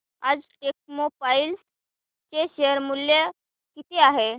आज टेक्स्मोपाइप्स चे शेअर मूल्य किती आहे